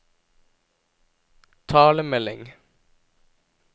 talemelding